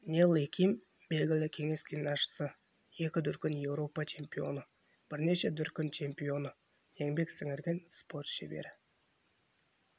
нелли ким белгілі кеңес гимнастшысы екі дүркін еуропа чемпионы бірнеше дүркін чемпионы еңбек сіңірген спорт шебері